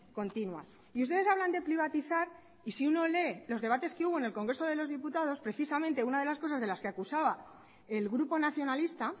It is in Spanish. continua y ustedes hablan de privatizar y si uno lee los debates que hubo en el congreso de los diputados precisamente una de las cosas de las que acusaba el grupo nacionalista